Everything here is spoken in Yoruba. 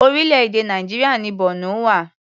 Orílẹ̀-èdè Nàìjíríà ni Borno wà.